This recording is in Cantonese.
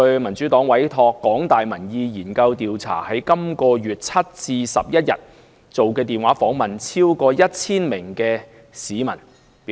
民主黨委託香港大學民意研究計劃，在本月7日至11日電話訪問超過 1,000 名市民。